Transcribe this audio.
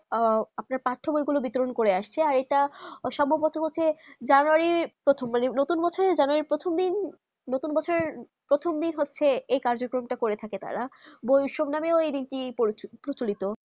আহ আপনার পাঠ বই গুলু বিতরণ করে আসছে যেটা সমপ্রতি হচ্য়ে january প্রথম জানে নতুন বছেরের প্রথম দিন হচ্ছে যে কাজ কর্ম তা করে থাকে তারা বই সব ওই নামে প্রচিলত